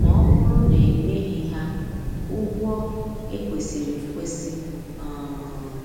ma ọbụrụ na enyeghi ha ụgwọ ekwesiri ekwesi. um